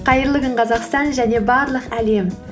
қайырлы күн қазақстан және барлық әлем